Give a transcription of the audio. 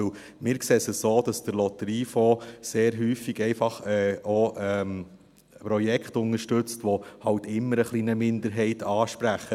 Denn wir sehen es so, dass der Lotteriefonds sehr häufig einfach auch Projekte unterstützt, die halt immer ein wenig eine Minderheit ansprechen.